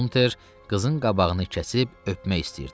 Unter qızın qabağını kəsib öpmək istəyirdi.